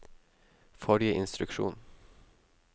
forrige instruksjon